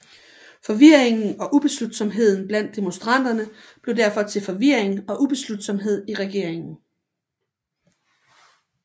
Forvirringen og ubeslutsomheden blandt demonstranterne blev derfor til forvirring og ubeslutsomhed i regeringen